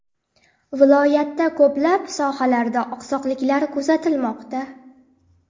Viloyatda ko‘plab sohalarda oqsoqliklar kuzatilmoqda.